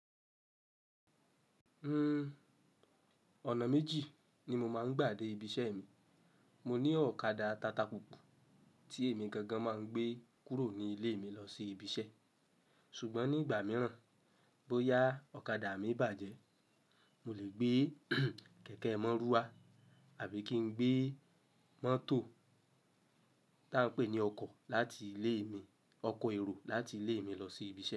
Uhm, ọ̀nà méjì ni mo máa ń gbà dé ibi iṣẹ́ mi. Mo ní ọ̀kadà tata púpa tí èmi gangan máa ń gbé kúrò ní ilé mi lọ sí ibi iṣẹ́. Ṣùgbọ́n nígbà mìíràn bóyá ọ̀kadà mi bàjẹ́, mo lè gbé kẹ̀kẹ́ mọ́rúà àbí kí n gbé mọ́tò tí a ń pè ní ọkọ̀ láti ilé mi, ọkọ èrò láti ilé mi lọ sí ibi iṣẹ́